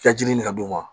I ka ji ɲini ka d'u ma